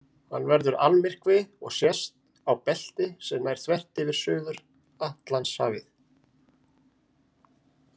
Hann verður almyrkvi og sést á belti sem nær þvert yfir Suður-Atlantshafið.